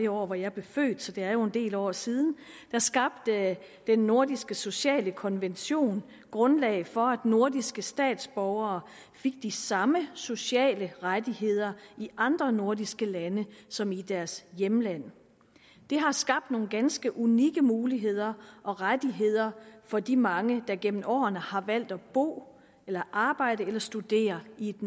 år da jeg blev født så det er jo en del år siden skabte den nordiske sociale konvention grundlaget for at nordiske statsborgere fik de samme sociale rettigheder i andre nordiske lande som i deres hjemland det har skabt nogle ganske unikke muligheder og rettigheder for de mange der gennem årene har valgt at bo eller arbejde eller studere i et